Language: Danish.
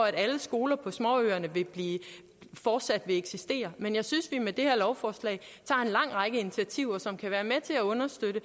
at alle skoler på småøerne fortsat vil eksistere men jeg synes at vi med det her lovforslag tager en lang række initiativer som kan være med til understøtte